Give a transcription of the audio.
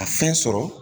A fɛn sɔrɔ